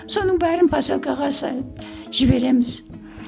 соның бәрін посылкаға жібереміз